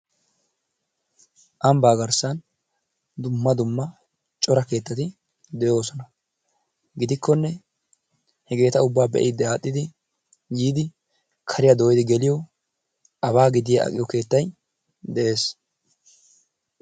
Ambbaa garssan dumma dumma cora keettati de'oosona. Giddikkonne hegeeta ubbaa be'idi adhdhidi yiidi kariya doyidi geliyo abaa gidiya aqqiyo keettay de'ees.